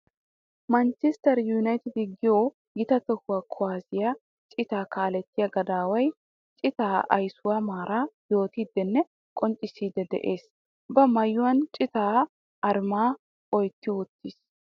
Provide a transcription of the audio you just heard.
Manchester united giyo gita toho kuwasiya cita kaaletiya gadaway cita ayssuwa maara yootiddenne qonccissiddi de'ees. Ba maayuwan cita aruma oytti uttis.